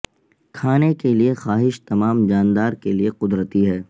کھانے کے لئے کی خواہش تمام جاندار کے لئے قدرتی ہے